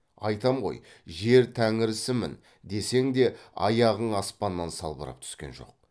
айтам ғой жер тәңірісімін десең де аяғың аспаннан салбырап түскен жоқ